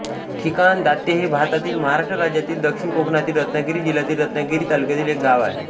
ठिकाण दात्ये हे भारतातील महाराष्ट्र राज्यातील दक्षिण कोकणातील रत्नागिरी जिल्ह्यातील रत्नागिरी तालुक्यातील एक गाव आहे